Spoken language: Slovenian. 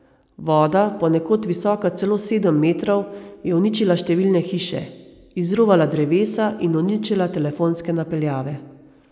Voda, ponekod visoka celo sedem metrov, je uničila številne hiše, izruvala drevesa in uničila telefonske napeljave.